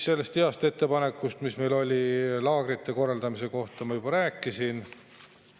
Sellest heast ettepanekust, mis meil oli laagrite korraldamise kohta, ma juba rääkisin.